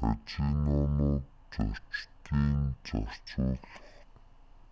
казинонууд зочдын